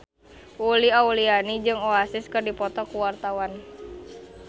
Uli Auliani jeung Oasis keur dipoto ku wartawan